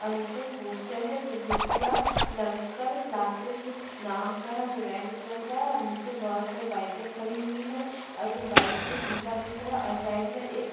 और नीचे एक पोस्टर है जो विद्या लंकर क्लासेस नाम का है जो रेड कलर का है और नीचे बहुत सारी बाइके खड़ी हुई है और ये बाइक में एक शीशा दिख रहा है और साइड में एक --